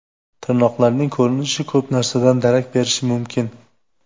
Tirnoqlarning ko‘rinishi ko‘p narsadan darak berishi mumkin.